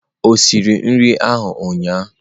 O siri nri ahụ ụnyahụ?